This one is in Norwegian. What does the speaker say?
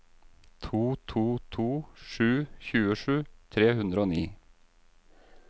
to to to sju tjuesju tre hundre og ni